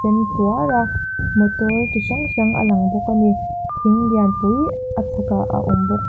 a motor chi hrang hrang a lang bawk a ni thing lian pui a chhakah a awm bawk.